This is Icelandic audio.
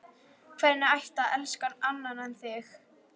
Hvernig ætti að elska annan en þig?